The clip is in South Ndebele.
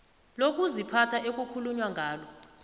lokuziphatha ekukhulunywa ngalo